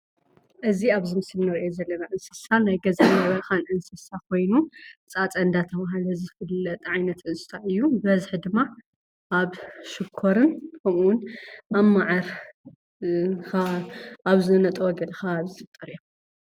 እዚ ኣብዚ ምስሊ ንሪኦ ዘለና እንስሳ ናይ ገዛን በረኻን እንስሳን ኮይኑ ፃፀ እንዳተባህለ ዝፍለጥ ዓይነት እንስሳ እዩ፡፡ ብበዝሒ ድማ ኣብ ሽኮርን ከምኡውን ኣብ መዓር ኣብ ዝነጠበሉ ከባቢ ዝፍጠሩ እዮም፡፡